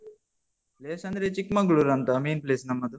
Place ಅಂದ್ರೆ ಚಿಕ್ಕಮಂಗ್ಲೂರು ಅಂತ main place ನಮ್ಮದು.